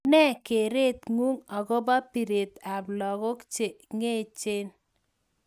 Nee kereet nguung agobo bireet ab lakok che ngeech